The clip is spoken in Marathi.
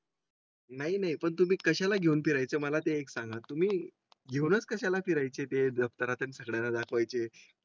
. नाही नाही पण तुम्ही कशाला घेऊन फिरायचे मला ते एक सागा तुम्ही घेऊनच कशाला फिरायचे दफ्तरात या सगळ्यांना दाखवायचे.